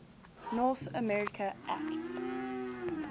north america act